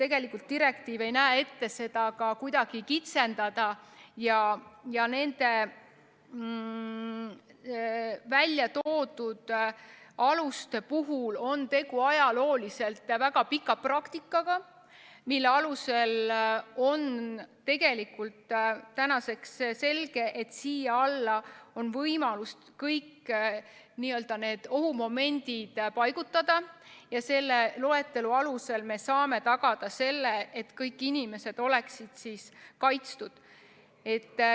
Tegelikult direktiiv ei näe ette seda kuidagi kitsendada, ja nende väljatoodud aluste puhul on tegu ajalooliselt väga pika praktikaga, mille alusel on tänaseks selge, et siia alla on võimalik kõik need ohumomendid paigutada, ja selle loetelu alusel me saame tagada selle, et kõik inimesed oleksid kaitstud.